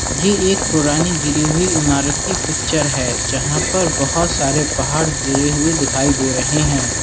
ये एक पुरानी गिरी हुई इमारत की पिक्चर है जहां पर बहोत सारे पहाड़ गिरे हुए दिखाई दे रहे है।